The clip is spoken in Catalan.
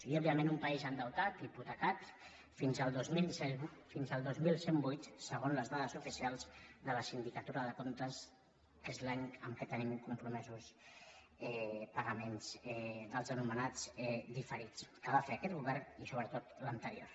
i òbviament un país endeutat hipotecat fins al dos mil cent i vuit segons les dades oficials de la sindicatura de comptes que és l’any en què tenim compromesos pagaments dels anomenats diferits que va fer aquest govern i sobretot l’anterior